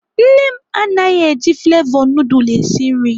Nne m anaghị eji flevọ nudul esi nri.